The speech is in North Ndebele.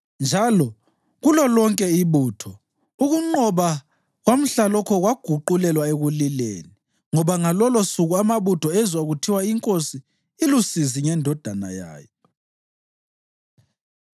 Njalo kulolonke ibutho ukunqoba kwamhlalokho kwaguqulelwa ekulileni, ngoba ngalolosuku amabutho ezwa kuthiwa, “Inkosi ilusizi ngendodana yayo.”